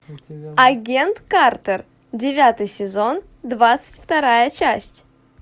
агент картер девятый сезон двадцать вторая часть